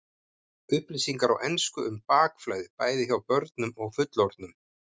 Upplýsingar á ensku um bakflæði, bæði hjá börnum og fullorðnum.